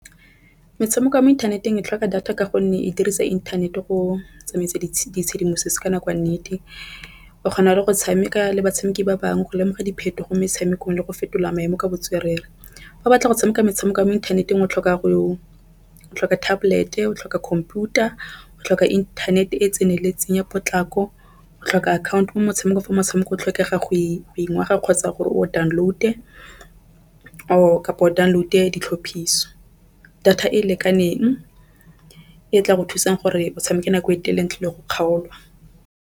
Metshameko ya mo inthaneteng e tlhoka data ka gonne e dirisa inthanete go tsamaisa tshedimosetso ka nako ya nnete. O kgona go tshameka le batshameki ba bangwe go lemoga diphetogo metshamekong le go fetola maemo ka botswerere fa o batla go tshameka metshameko ya mo inthaneteng. O tlhoka go o tlhoka tablet, o tlhoka computer, o tlhoka inthanete e tseneleng potlako o tlhoka account-o motshameko. Fa motshameko o tlhokega go kgotsa gore o download-e download-e ditlhophiso data e lekaneng e tla go thusang gore o tshameke nako e telele ntle le go kgaolwa.